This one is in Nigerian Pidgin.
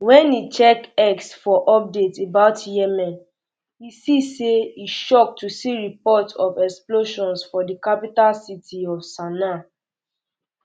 wen e check x for updates about yemen e say e shock to see reports of explosions for di capital city of sanaa